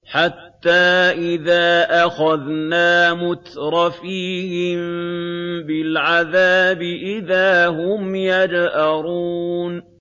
حَتَّىٰ إِذَا أَخَذْنَا مُتْرَفِيهِم بِالْعَذَابِ إِذَا هُمْ يَجْأَرُونَ